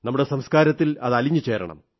നമ്മുടെ സംസ്കാരത്തിൽ അത് അലിഞ്ഞു ചേരണം